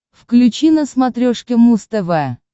включи на смотрешке муз тв